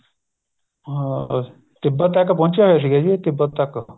ਹਾਂ ਤਿੱਬਤ ਤੱਕ ਪਹੁੰਚਿਆ ਹੋਇਆ ਸੀ ਜੀ ਇਹ ਤਿੱਬਤ ਤੱਕ